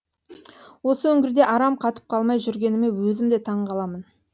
осы үңгірде арам қатып қалмай жүргеніме өзім де таңғаламын